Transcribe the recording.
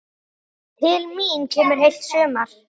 Til mín kemur heilt sumar.